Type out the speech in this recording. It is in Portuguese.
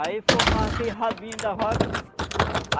Aí formava aquele rabinho da vaca.